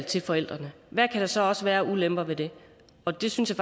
til forældrene hvad kan der så også være af ulemper ved det og det synes